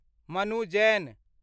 Manu Jain